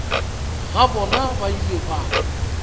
ga bona ba ile ba